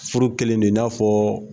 Furu kɛlen de i n'a fɔ